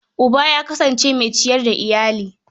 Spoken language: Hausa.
Uba ya kasance mai ciyar da iyali.